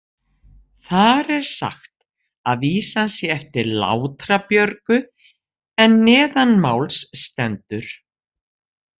Þar er sagt að vísan sé eftir Látra-Björgu en neðanmáls stendur: